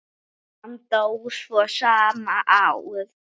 Hann dó svo sama ár.